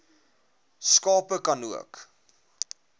skape ka nook